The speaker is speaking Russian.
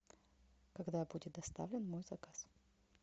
когда будет доставлен мой заказ